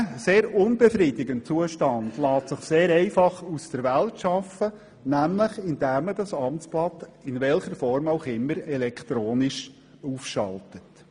Dieser sehr unbefriedigende Zustand lässt sich sehr einfach aus der Welt schaffen, nämlich indem man das Amtsblatt – in welcher Form auch immer – elektronisch aufschaltet.